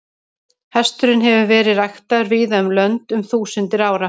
Hesturinn hefur verið ræktaður víða um lönd um þúsundir ára.